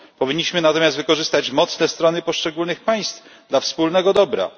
Powinniśmy natomiast wykorzystać mocne strony poszczególnych państw dla wspólnego dobra.